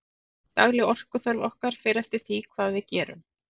dagleg orkuþörf okkar fer eftir því hvað við gerum